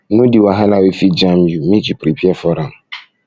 know di wahala wey fit jam you make you prepare for am